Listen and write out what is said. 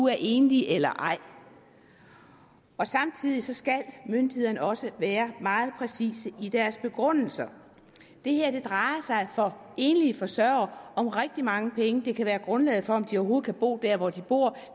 er enlig eller ej samtidig skal myndighederne også være meget præcise i deres begrundelser det her drejer sig for enlige forsørgere om rigtig mange penge det kan være grundlaget for om de overhovedet kan bo der hvor de bor